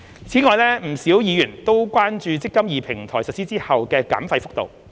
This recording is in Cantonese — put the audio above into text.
此外，不少議員都關注"積金易"平台實施後的減費幅度。